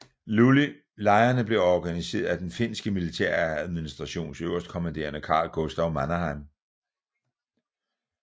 Lejrene blev organiseret af den finske militæradministrations øverstkommanderende Carl Gustaf Mannerheim